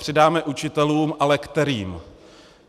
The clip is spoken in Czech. Přidáme učitelům, ale kterým?